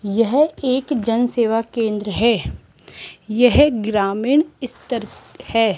यह एक जन सेवा केंद्र है यह ग्रामीण स्तर है।